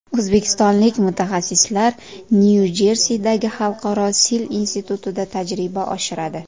O‘zbekistonlik mutaxassislar Nyu-Jersidagi Xalqaro sil institutida tajriba oshiradi.